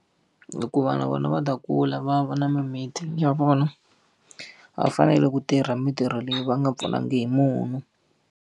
Hikuva na vona va ta kula va ya va na mimiti ya vona, va fanele ku tirha mintirho leyi va nga pfunanga hi munhu.